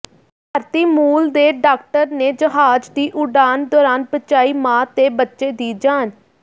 ਭਾਰਤੀ ਮੂਲ ਦੇ ਡਾਕਟਰ ਨੇ ਜਹਾਜ਼ ਦੀ ਉਡਾਨ ਦੌਰਾਨ ਬਚਾਈ ਮਾਂ ਤੇ ਬੱਚੇ ਦੀ ਜਾਨ